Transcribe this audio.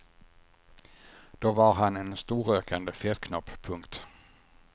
Då var han en storrökande fetknopp. punkt